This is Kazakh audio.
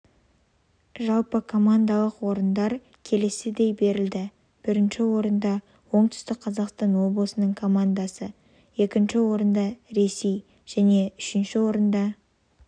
жалпыкомандалық орындар келесідей берілді бірінші орында оңтүстік қазақстан облысының командасы екінші орында ресей және үшінші орында